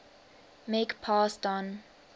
make pass don